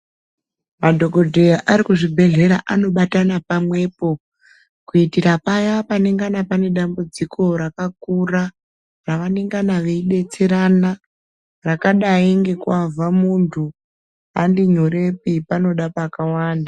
Madhokodheya Ari kuzvibhedhlera anibatana pamwepo kuitira paya panenge pane dambudziko Rakakura vanenge veida kudetserana Rakadai nekubva muntu handinyorepi panoda pakawanda.